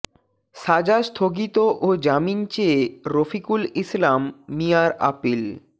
সাজা স্থগিত ও জামিন চেয়ে রফিকুল ইসলাম মিয়ার আপিল